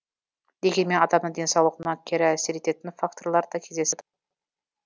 дегенмен адамның денсаулығына кері әсер ететін факторлар да кездесіп